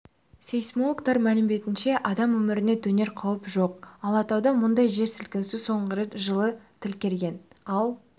сейсмологтар мәліметінше адам өміріне төнер қауіп жоқ алатауда мұндай жер сілкінісі соңғы рет жылы тіркелген ал